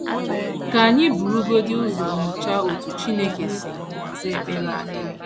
Ka anyị burugodị ụzọ nyochaa otú Chineke si aza ekpere anyị.